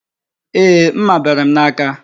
Ee, mma bere m n'aka